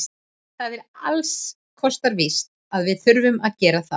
Það er ekki alls kostar víst að við þurfum að gera það.